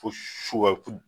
Ko su ka ko